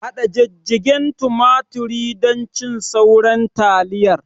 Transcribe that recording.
Haɗa jijjigen tumaturi don cin sauran taliyar